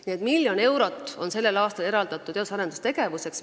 Nii et miljon eurot on sellel aastal eraldatud teadus- ja arendustegevuseks.